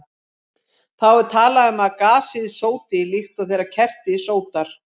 Þá er talað um að gasið sóti, líkt og þegar kerti sótar.